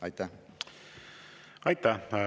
Aitäh!